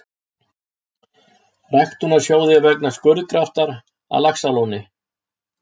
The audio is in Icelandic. Ræktunarsjóði vegna skurðgraftar að Laxalóni.